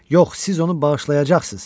Yox, siz onu bağışlayacaqsınız.